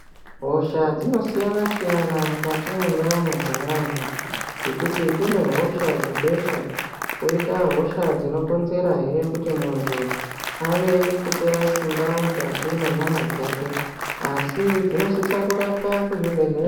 Hosha dzakasiyana siyana mukati mwendaramo dzevantu ngekuti kunehosha dzebesha koita hisha dzinokonzera hee kuti muntu ave kupera simba mukati mwenyama dzake asi dzinosisa kurapwa kuzvibhedhlera.